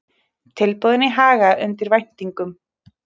Tilboðin í Haga undir væntingum